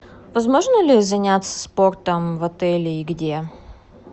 возможно ли заняться спортом в отеле и где